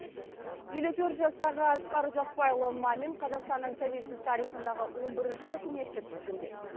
елу төрт жастағы асқар ұзақбайұлы мамин қазақстанның тәуелсіз тарихындағы он бірінші үкіметті тізгіндеді